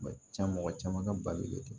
Ma ca mɔgɔ caman ka balolen tɛ